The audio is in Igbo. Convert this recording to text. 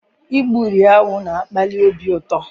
Igburi awụ na-akpali obi ụtọ.